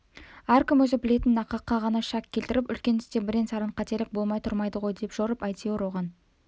әркім өзі білетін нақаққа ғана шәк келтіріп үлкен істе бірен-саран қателік болмай тұрмайды ғой деп жорып әйтеуір оған